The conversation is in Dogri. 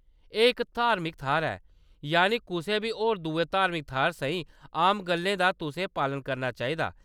एह्‌‌ इक धार्मिक थाह्‌‌‌र ऐ, यानि कुसै बी होर दुए धार्मिक थाह्‌‌‌रै साहीं आम गल्लें दा तुसें पालन करना चाहिदा।